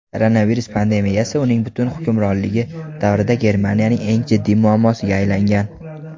koronavirus pandemiyasi uning butun hukmronligi davrida Germaniyaning eng jiddiy muammosiga aylangan.